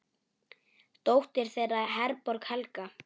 Dóttir þeirra er Herborg Helga.